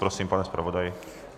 Prosím, pane zpravodaji.